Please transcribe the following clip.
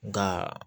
Nka